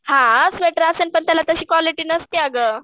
हां स्वेटर असेल पण त्याला तशी क्वालिटी नसते अगं.